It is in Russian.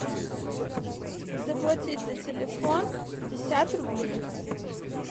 заплатить за телефон пятьдесят рублей